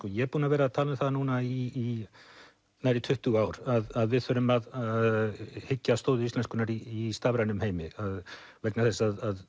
ég er búinn að vera að tala um núna í nærri tuttugu ár að við þurfum að hyggja að stoði íslenskunnar í stafrænum heimi vegna þess að